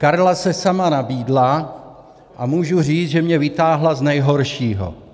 Karla se sama nabídla a můžu říct, že mě vytáhla z nejhoršího.